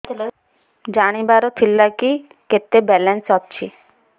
ଜାଣିବାର ଥିଲା କି କେତେ ବାଲାନ୍ସ ଅଛି